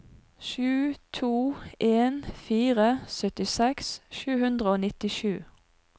sju to en fire syttiseks sju hundre og nittisju